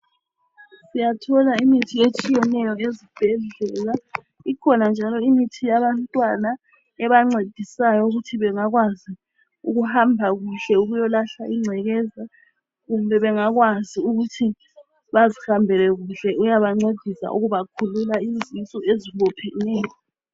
Sowathola imithi etshiyeneyo ezibhedlela. Ikhona njalo imithi yabantwana ebancedisayo ukuthi bengakwazi ukuhamba kuhle ukuyolahla ingcekeza kumbe bengakwazi bazihambele kuhle, iyabakhulula izisu ezibopheneyo.